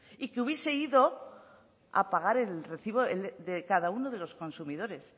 y que hubiese ido a pagar el recibo de cada de los consumidores